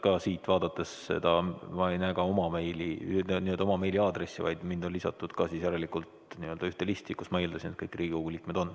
Siit vaadates ma ei näe ka oma meiliaadressi, vaid mind on lisatud järelikult ühte listi, kus, ma eeldasin, on kõik Riigikogu liikmed.